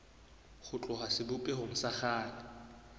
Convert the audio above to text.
ho tloha sebopehong sa kgale